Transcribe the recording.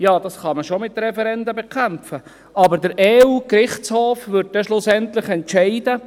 » Man kann es schon mit Referenden bekämpfen, aber der EU-Gerichtshof wird schlussendlich entscheiden.